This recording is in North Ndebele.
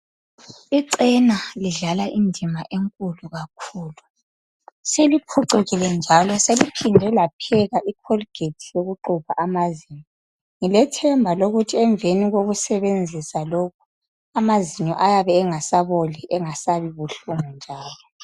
Icena lidlala indima enkulu kakhulu . Seliphuchukile njalo seliphinde lapheka ikholigeti yokuklubha amazinyo. Ngilethemba ukuthi emveni kokusebenzisa lokhu amazinyo ayabe engasaboli engasabi buhlungu njalo.